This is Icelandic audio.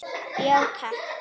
Já takk.